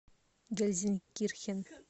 гельзенкирхен